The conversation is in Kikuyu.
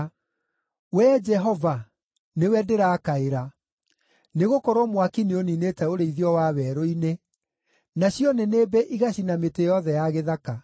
Wee Jehova, nĩwe ndĩrakaĩra, nĩgũkorwo mwaki nĩũniinĩte ũrĩithio wa werũ-inĩ, nacio nĩnĩmbĩ igacina mĩtĩ yothe ya gĩthaka.